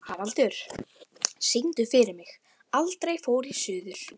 Haraldur, syngdu fyrir mig „Aldrei fór ég suður“.